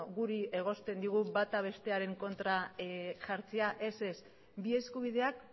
guri egosten digu bata bestearen kontra jartzea ez ez bi eskubideak